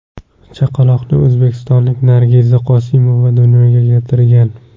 Chaqaloqni o‘zbekistonlik Nargiza Qosimova dunyoga keltirgan.